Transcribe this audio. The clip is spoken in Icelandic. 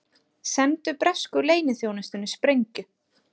Sendu bresku leyniþjónustunni sprengju